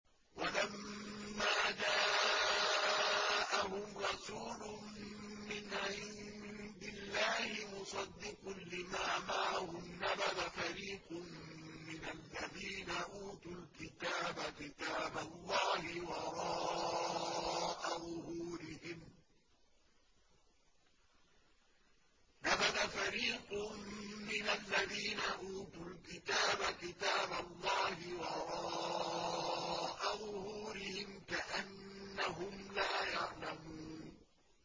وَلَمَّا جَاءَهُمْ رَسُولٌ مِّنْ عِندِ اللَّهِ مُصَدِّقٌ لِّمَا مَعَهُمْ نَبَذَ فَرِيقٌ مِّنَ الَّذِينَ أُوتُوا الْكِتَابَ كِتَابَ اللَّهِ وَرَاءَ ظُهُورِهِمْ كَأَنَّهُمْ لَا يَعْلَمُونَ